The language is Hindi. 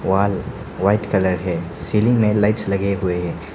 वॉल व्हाइट कलर है सीलिंग में लाइट्स लगे हुए हैं।